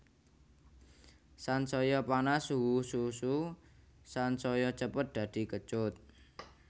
Sansaya panas suhu susu sansaya cepet dadi kecut